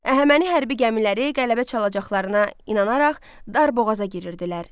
Əhəməni hərbi gəmiləri qələbə çalacaqlarına inanaraq dar boğaza girirdilər.